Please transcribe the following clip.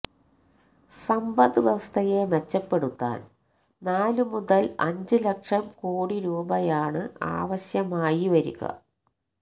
സമ്പദ് വ്യവസ്ഥയെ മെച്ചപ്പെടുത്താന് നാലു മുതല് അഞ്ച് ലക്ഷം കോടിരൂപയാണ് ആവശ്യമായി വരിക